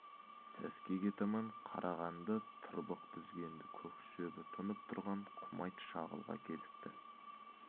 сәскеге таман қарағанды тырбық дүзгенді көк шөбі тұнып тұрған құмайт шағылға кезікті